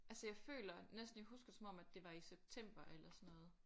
Altså jeg føler næsten jeg husker det som om at det var i september eller sådan noget